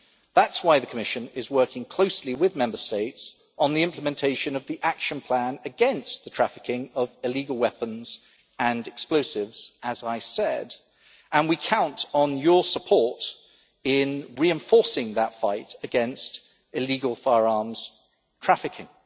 That is why the Commission is working closely with Member States on the implementation of the Action Plan against the trafficking of illegal weapons and explosives, and we count on your support in reinforcing that fight against illegal firearms trafficking.